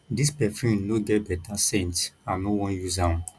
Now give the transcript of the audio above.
dis perfume no get beta scent i no wan use am